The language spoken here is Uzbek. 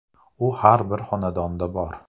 U har bir xonadonda bor.